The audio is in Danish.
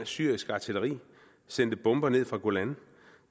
syrisk artilleri sendte bomber ned fra golan